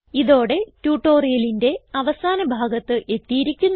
ഇതോടെ ട്യൂട്ടോറിയലിന്റെ അവസാന ഭാഗത്ത് എത്തിയിരിക്കുന്നു